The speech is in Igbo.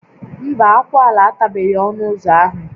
Mba, akwụala atabeghị ọnụ ụzọ ahụ